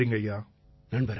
ரொம்ப நன்றிங்கய்யா